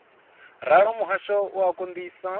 ralo muhasho u a konḓisa